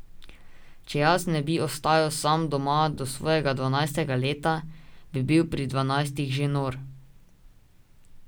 Če jaz ne bi ostajal sam doma do svojega dvanajstega leta, bi bil pri dvanajstih že nor.